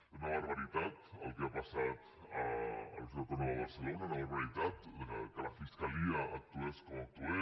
és una barbaritat el que ha passat a la universitat autònoma de barcelona és una barbaritat que la fiscalia actués com va actuar